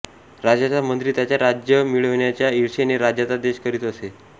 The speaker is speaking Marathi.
राजाचा मंत्री त्याच्या राज्य मिळविण्याच्या ईर्षेने राजाचा देश करीत असे